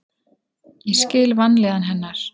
Ég skil vanlíðan hennar.